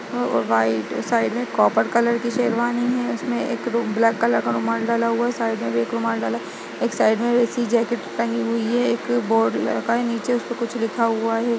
और white side में copper colour की शेरवानी है| उसमे एक रु ब्लैक कलर का रुमाल डला हुआ है साइड में भी एक रुमाल डला है एक साइड में भी ऐसी जैकेट टंगी हुई है एक बोर्ड लगा हुआ है नीचे उसपे कुछ लिखा हुआ है।